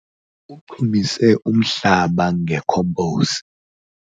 Uchumise umhlaba ngekhomposi.